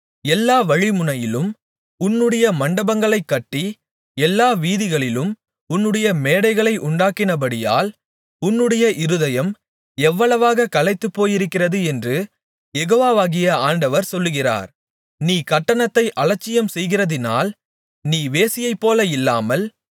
எல்லா வழிமுனையிலும் உன்னுடைய மண்டபங்களைக் கட்டி எல்லா வீதிகளிலும் உன்னுடைய மேடைகளை உண்டாக்கினபடியால் உன்னுடைய இருதயம் எவ்வளவாகக் களைத்துப்போயிருக்கிறது என்று யெகோவாகிய ஆண்டவர் சொல்லுகிறார் நீ கட்டணத்தை அலட்சியம் செய்கிறகிறதினால் நீ வேசியைப்போல இல்லாமல்